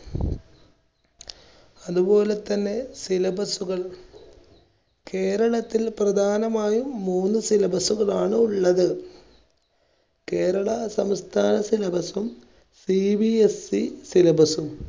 അതുപോലെതന്നെ syllabus കൾ കേരളത്തിൽ പ്രധാനമായും മൂന്ന് syllabus കളാണ് ഉള്ളത് കേരള സംസ്ഥാന syllabus സും CBSE syllabus സും.